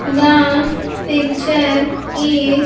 The picture is.